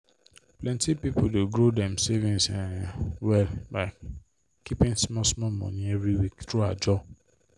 plenty people dey grow dem savings um well by keeping small small money every week through ajo